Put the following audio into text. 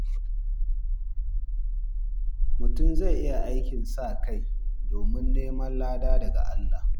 Mutum zai iya aikin sa kai domin neman lada daga Allah.